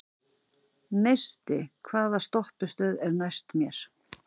Neisti, hvaða stoppistöð er næst mér?